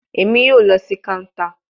Emi yoo lọ si counter